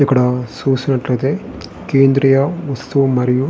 ఇక్కడ చూసినట్టుయితే కేంద్రియ వస్తు మరియు --